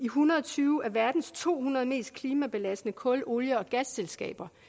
hundrede og tyve af verdens to hundrede mest klimabelastende kul olie og gasselskaber